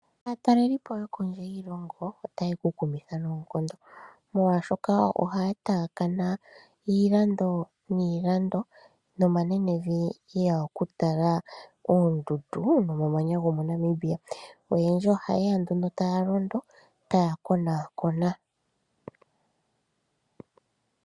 Aataleli po yokondje yiilongo ota yeku kumitha noonkondo molwashoka ohaya taakana iilando niilando nomanenevi yeya okutala oondundu nomamanya gomoNamibia. Oyendji ohaye ya nduno taya londo, taya konaakona.